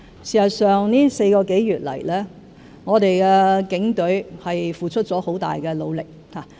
事實上，這4個多月來，我們的警隊付出了很大努力。